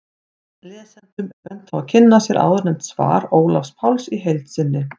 Lesendum er bent á að kynna sér áðurnefnt svar Ólafs Páls í heild sinni.